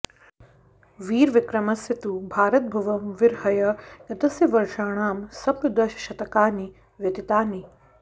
वीरविक्रमस्य तु भारतभुवं विरहय्य गतस्य वर्षाणां सप्तदशशतकानि व्यतीतानि